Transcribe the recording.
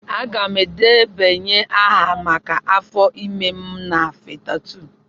Aga m edebanye aha maka afọ ime m na Fatha2.